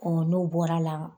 n'o bɔra la